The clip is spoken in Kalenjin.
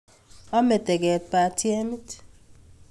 Ome teket batiemit.